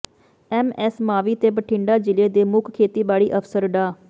MS Mavi ਤੇ ਬਠਿੰਡਾ ਜ਼ਿਲ੍ਹੇ ਦੇ ਮੁੱਖ ਖੇਤੀਬਾੜੀ ਅਫ਼ਸਰ ਡਾ